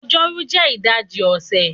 Ọjọ́rú jẹ́ ìdajì ọ̀sẹ̀